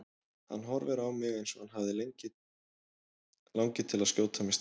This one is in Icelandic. Hann horfir á mig eins og hann langi til að skjóta mig strax.